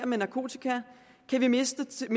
med narkotika kan vi mindske